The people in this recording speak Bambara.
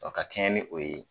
Wa ka kɛɲɛ ni o ye